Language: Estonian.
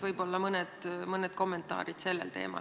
Võib-olla kommenteeriksite seda teemat.